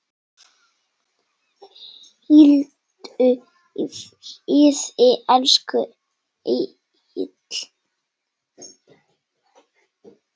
Hvíldu í friði, elsku Elli.